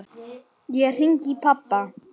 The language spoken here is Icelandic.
Ég hringi í pabba.